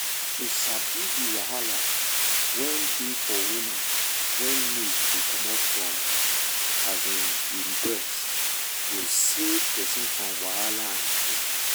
to sabi the wahala wen dey for woman wen milk dey comot from um e breast go save person from wahala and fear.